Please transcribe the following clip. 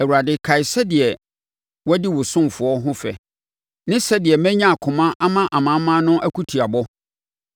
Awurade kae sɛdeɛ wɔadi wo ɔsomfoɔ ho fɛ ne sɛdeɛ manya akoma ama amanaman no akutiabɔ.